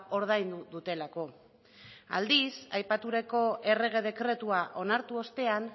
ordaindu dutelako aldiz aipatutako errege dekretua onartu ostean